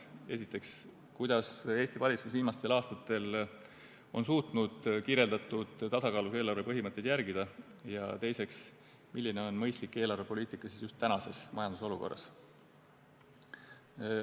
Esiteks, kuidas Eesti valitsus viimastel aastatel on suutnud kirjeldatud tasakaalus eelarve põhimõtteid järgida, ja teiseks, milline on mõistlik eelarvepoliitika just tänases majandusolukorras.